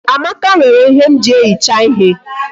Amaka were ihe m ji ehicha ihe